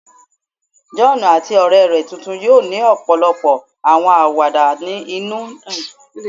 John ati ọrẹ rẹ tuntun yoo ni ọpọlọpọ awọn awada inu ni ọjọ iwaju